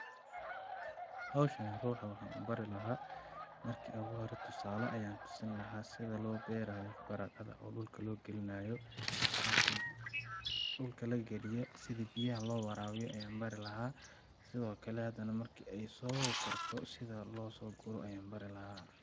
Hawshani ruuxa waxaan u bari lahaa ,marki oogu hore tusaalo ayaan tusin lahaa sida loo beeraayo baradhada oo dhulka loo galinaayo ,markeey dhulka la galiyo sidi biyaha loo waraabiyo ayaan bari lahaa ,sidoo kale hadana marki ay soo karto sidi loo soo guro ayaan bari lahaa .